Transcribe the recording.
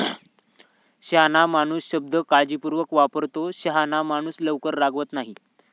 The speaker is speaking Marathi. शहाणा माणूस शब्द काळजीपूर्वक वापरतो. शहाणा माणूस लवकर रागावत नाही.